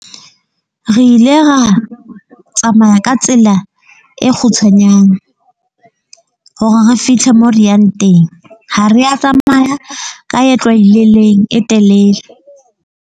Re ile ra tsamaya ka tsela e kgutshwanyane hore re fithle moo re yang teng. Ha re ya tsamaya ka e tlwaelehileng e telele.